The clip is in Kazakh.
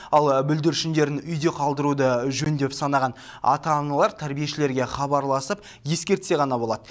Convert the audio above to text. ал бүлдіршіндерін үйде қалдыруды жөн деп санаған ата аналар тәрбиешілерге хабарласып ескертсе ғана болады